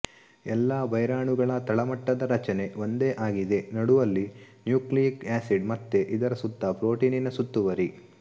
ಎಲ್ಲಾ ವೈರಾಣುಗಳ ತಳಮಟ್ಟದ ರಚನೆ ಒಂದೇ ಆಗಿದೆ ನಡುವಲ್ಲಿ ನ್ಯೂಕ್ಲಿಯಿಕ್ ಆಸಿಡ್ ಮತ್ತೆ ಇದರ ಸುತ್ತ ಪ್ರೋಟೀನಿನ ಸುತ್ತುವರಿ